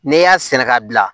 N'i y'a sɛnɛ ka bila